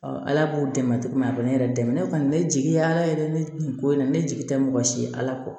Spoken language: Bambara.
ala b'u dɛmɛ cogo min na ne yɛrɛ dɛmɛ ne kɔni ne jigi ye ala yɛrɛ ne nin ko in na ne jigi tɛ mɔgɔ si ye ala kɔ